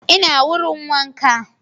Ina wurin wanka